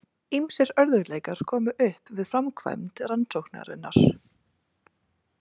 Ýmsir örðugleikar komu upp við framkvæmd rannsóknarinnar.